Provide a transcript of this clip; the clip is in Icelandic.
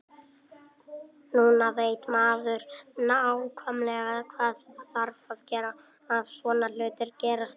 Núna veit maður nákvæmlega hvað þarf að gera ef svona hlutir gerast aftur.